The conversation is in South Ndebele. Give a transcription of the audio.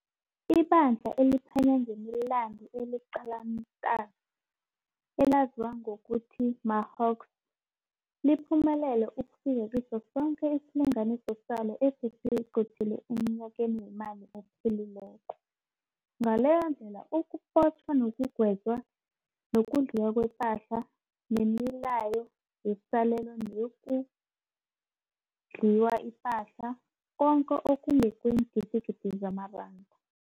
IBandla eliphenya ngemi Landu eliQalontanzi, elaziwa ngokuthi maHawks , liphumelele ukufika kiso soke isilinganiso salo ebelisiqothele emnyakeni weemali ophelileko, ngaleyindlela ukubotjhwa nokugwetjwa, nokudliwa kwepahla, nemilayo yesalelo neyokudliwa ipahla, koke okungokwee ngidigidi zamaranda.